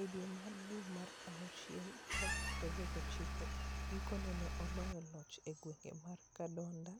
E dwe mar dwe mar awuchiel tarik 29, gikone ne oloyo loch e gweng' mar Kyadondo,